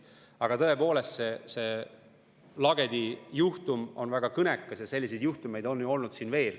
Aga tõepoolest, see Lagedi juhtum on väga kõnekas ja selliseid juhtumeid on ju veel olnud.